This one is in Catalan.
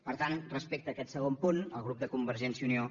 per tant respecte a aquest segon punt el grup de convergència i unió